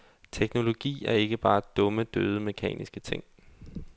Teknologi er ikke bare dumme, døde, mekaniske ting.